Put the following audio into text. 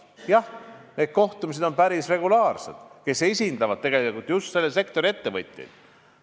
Jah, need kohtumised nendega, kes esindavad ju selle sektori ettevõtjaid, on päris regulaarsed.